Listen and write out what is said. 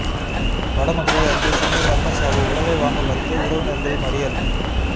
வடமதுரை அருகே சிறுமி மர்மச்சாவு உடலை வாங்க மறுத்து உறவினர்கள் மறியல்